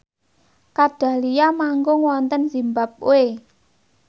Kat Dahlia manggung wonten zimbabwe